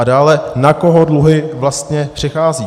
A dále na koho dluhy vlastně přecházejí.